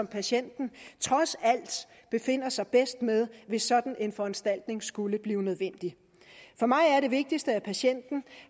patienten trods alt befinder sig bedst med hvis sådan en foranstaltning skulle blive nødvendig for mig er det vigtigste at patienten